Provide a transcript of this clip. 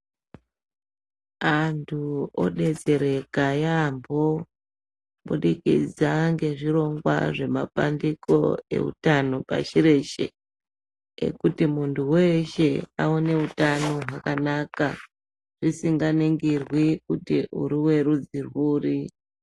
Antu odetsereka yambo kubudikidza ngezvirongwa zvemabandiko ezvehutano pashi reshe ekuti muntu weshe aone hutano hwakanaka zvisinganingirwi kuti uri werudzi rwuri.